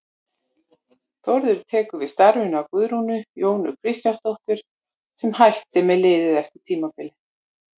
Þórður tekur við starfinu af Guðrúnu Jónu Kristjánsdóttur sem hætti með liðið eftir tímabilið.